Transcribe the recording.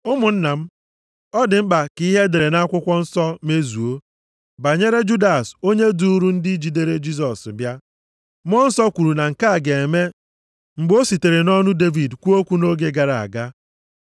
“Ụmụnna m, ọ dị mkpa ka ihe e dere nʼakwụkwọ nsọ mezuo banyere Judas onye duuru ndị jidere Jisọs bịa. Mmụọ Nsọ kwuru na nke a ga-eme mgbe o sitere nʼọnụ Devid kwuo okwu nʼoge gara aga.